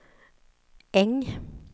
Äng